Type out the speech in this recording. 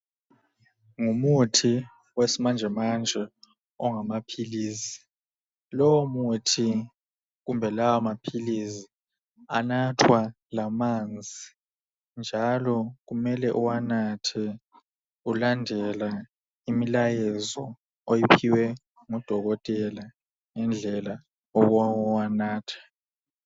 ngumuthi wesimanjemanje ongamaphilisi lowo muthi kumbe lawa maphilisi anathwa lamanzi njalo kumele uwanathe ulandela imilayezo oyiphiwe ngu dokotela ngendlela yokuwanatha